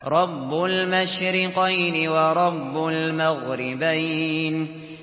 رَبُّ الْمَشْرِقَيْنِ وَرَبُّ الْمَغْرِبَيْنِ